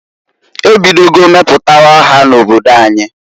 E bidogo meputawa ha na-obodo anyi.